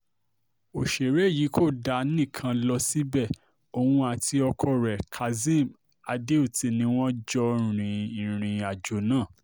ọ̀sẹ̀rẹ̀ yìí kò dá nìkan lọ síbẹ̀ o òun àti ọkọ rẹ̀ kazeem adeoti ni wọ́n jọ rin ìrìn-àjò náà